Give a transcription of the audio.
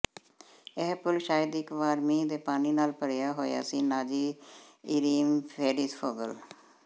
ਇਹ ਪੂਲ ਸ਼ਾਇਦ ਇਕ ਵਾਰ ਮੀਂਹ ਦੇ ਪਾਣੀ ਨਾਲ ਭਰਿਆ ਹੋਇਆ ਸੀ ਨਾਜ਼ੀ ਇਰੀਮ ਸੇਰੀਫੋਗਲੂ